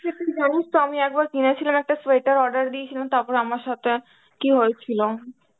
তো তুই জানিস তো আমি একবার কিনেছিলাম একটা sweater order দিয়েছিলাম তারপরে আমার সাথে কি হয়েছিল?